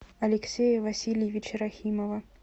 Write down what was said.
алексея васильевича рахимова